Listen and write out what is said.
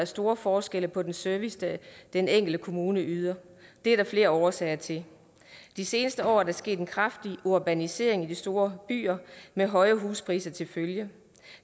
store forskelle på den service den enkelte kommune yder det er der flere årsager til de seneste år er der sket en kraftig urbanisering i de store byer med høje huspriser til følge